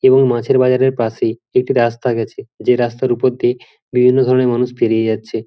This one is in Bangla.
এবং মাছের বাজারের পাশেই একটি রাস্তা গেছে যেই রাস্তার ওপর দিয়ে বিভিন্ন রকমের মানুষ পেরিয়ে যাচ্ছে।